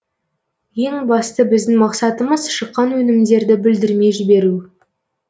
ең бастысы біздің мақсатымыз шыққан өнімдерді бүлдірмей жіберу